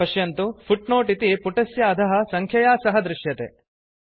पश्यन्तु फुट्नोट् इति पुटस्य अधः सङ्ख्यया सह दृश्यते